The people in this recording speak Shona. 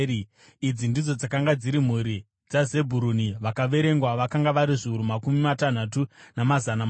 Idzi ndidzo dzakanga dziri mhuri dzaZebhuruni; vakaverengwa vakanga vari zviuru makumi matanhatu, namazana mashanu.